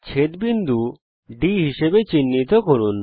ছেদ বিন্দু D হিসাবে চিহ্নিত করুন